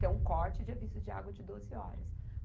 Tem um corte de aviso de água de doze horas.